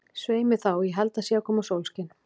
Svei mér þá, ég held að það sé að koma sólskin.